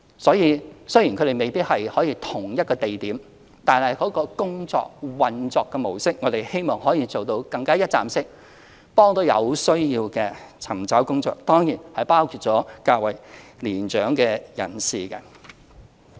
所以，雖然他們未必可以於同一地點，但我們希望其運作模式可以做到更加一站式，幫助有需要的尋找工作人士，當然包括較為年長的人士。